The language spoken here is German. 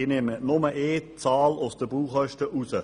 Ich entnehme den Baukosten nur eine Zahl: